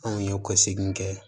Anw ye kɔsegin kɛ